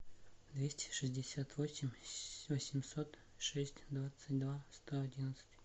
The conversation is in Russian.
двести шестьдесят восемь восемьсот шесть двадцать два сто одиннадцать